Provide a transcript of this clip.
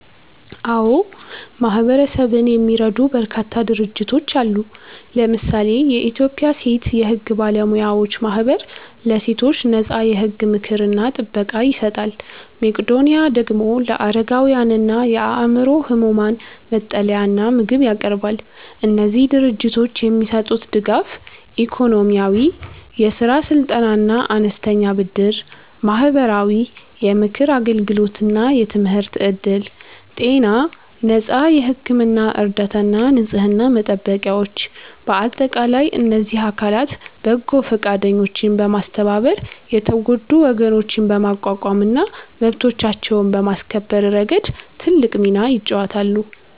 አዎ፣ ማህበረሰብን የሚረዱ በርካታ ድርጅቶች አሉ። ለምሳሌ የኢትዮጵያ ሴት የሕግ ባለሙያዎች ማኅበር ለሴቶች ነፃ የሕግ ምክርና ጥበቃ ይሰጣል። መቄዶኒያ ደግሞ ለአረጋውያንና የአእምሮ ሕሙማን መጠለያና ምግብ ያቀርባል። እነዚህ ድርጅቶች የሚሰጡት ድጋፍ፦ -ኢኮኖሚያዊ፦ የሥራ ስልጠናና አነስተኛ ብድር። -ማህበራዊ፦ የምክር አገልግሎትና የትምህርት ዕድል። -ጤና፦ ነፃ የሕክምና እርዳታና ንጽሕና መጠበቂያዎች። በአጠቃላይ እነዚህ አካላት በጎ ፈቃደኞችን በማስተባበር የተጎዱ ወገኖችን በማቋቋምና መብቶቻቸውን በማስከበር ረገድ ትልቅ ሚና ይጫወታሉ።